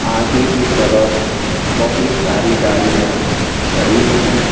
आगे की तरफ बहुत सारी गाड़ियां खड़ी हैं।